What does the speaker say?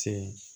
Ten